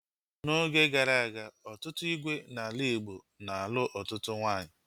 N'oge gara aga, ọtụtụ ígwè n'ala Igbo na-alụ ọtụtụ nwaanyị